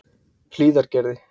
Hlíðargerði